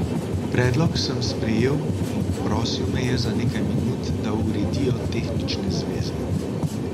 Predlog sem sprejel in prosil me je za nekaj minut, da uredijo tehnične zveze.